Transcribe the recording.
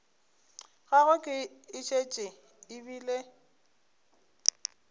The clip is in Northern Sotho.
gagwe e šetše e bile